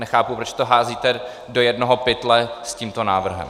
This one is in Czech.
Nechápu, proč to házíte do jednoho pytle s tímto návrhem.